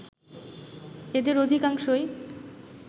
এদের অধিকাংশই